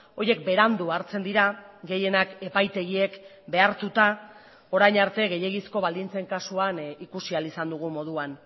horiek berandu hartzen dira gehienak epaitegiek behartuta orain arte gehiegizko baldintzen kasuan ikusi ahal izan dugun moduan